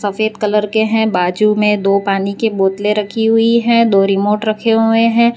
सफेद कलर के हैं बाजू में दो पानी कि बोतले रखी हुई है दो रिमोट रखे हुए हैं।